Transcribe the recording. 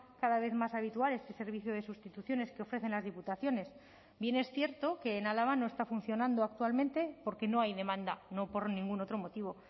cada vez más habitual este servicio de sustituciones que ofrecen las diputaciones bien es cierto que en álava no está funcionando actualmente porque no hay demanda no por ningún otro motivo